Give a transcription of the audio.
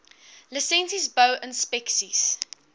lisensies bou inspeksies